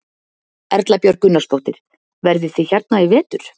Erla Björg Gunnarsdóttir: Verðið þið hérna í vetur?